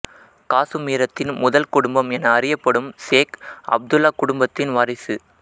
காசுமீரத்தின் முதல் குடும்பம் என அறியப்படும் சேக் அப்துல்லா குடும்பத்தின் வாரிசு